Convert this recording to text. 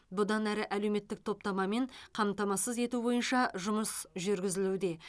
бұдан әрі әлеуметтік топтамамен қамтамасыз ету бойынша жұмыс жүргізілуде